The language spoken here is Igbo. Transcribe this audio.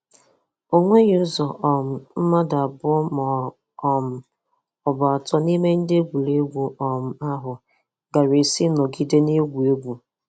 Onweghị ụzọ um mmadụ abụọ ma um ọ bụ atọ n'ime ndị egwuregwu um ahụ gaara esi nọgide na-egwu egwu.